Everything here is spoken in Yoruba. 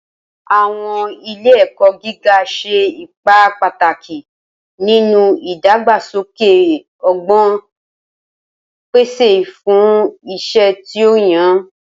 Awọn ile-ẹkọ giga ṣe ipa pataki ninu idagbasoke ọgbọn, pese imọ fun iṣẹ ti o yan.